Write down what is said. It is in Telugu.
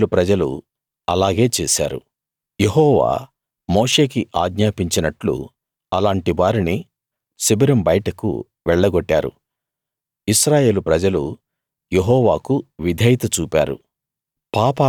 ఇశ్రాయేలు ప్రజలు అలాగే చేశారు యెహోవా మోషేకి ఆజ్ఞాపించినట్లు అలాంటి వారిని శిబిరం బయటకు వెళ్ళగొట్టారు ఇశ్రాయేలు ప్రజలు యెహోవాకు విధేయత చూపారు